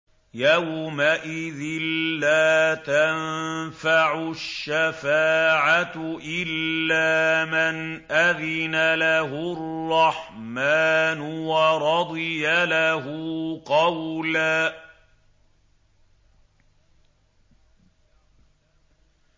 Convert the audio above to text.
يَوْمَئِذٍ لَّا تَنفَعُ الشَّفَاعَةُ إِلَّا مَنْ أَذِنَ لَهُ الرَّحْمَٰنُ وَرَضِيَ لَهُ قَوْلًا